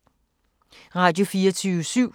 Radio24syv